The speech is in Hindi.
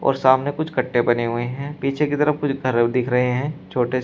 और सामने कुछ गड्ढे बने हुए हैं पीछे की तरफ कुछ तरल दिख रहे है छोटे से --